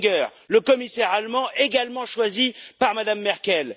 Oettinger, le commissaire allemand également choisi par Mme Merkel.